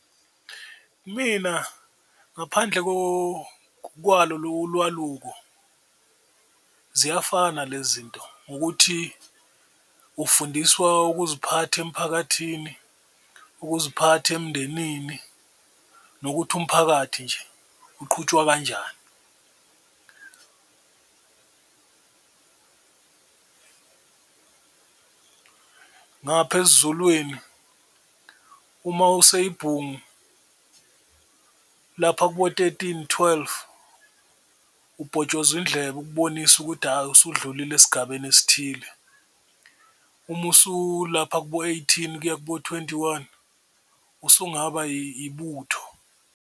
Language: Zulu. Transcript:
Mina ngaphandle kwalo lo lwakaluko ziyafana le zinto ngokuthi ufundiswa ukuziphatha emiphakathini, ukuziphatha emndenini, nokuthi umphakathi nje uqhutshwa kanjani. Ngapha esiZulwini uma useyibhungu lapha kubo-thirteen, twelve ubhotshozwa indlebe ukubonisa ukuthi hhayi usudlulile esigabeni esithile, uma usulapha ko-eighteen kuya kubo-twenty one usungaba ibutho.